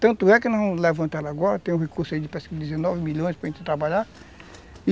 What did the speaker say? Tanto é que nós vamos levantar agora, tem um recurso aí de quase dezenove milhões para a gente trabalhar, e